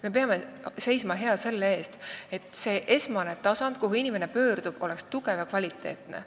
Me peame seisma hea selle eest, et see esmane tasand, kuhu inimene pöördub, oleks tugev ja kvaliteetne.